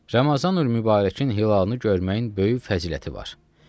Ramazanül-mübarəkin hilalını görməyin böyük fəziləti var.